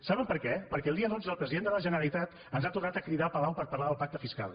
saben per què perquè el dia dotze el president de la generalitat ens ha tornat a cridar a palau per parlar del pacte fiscal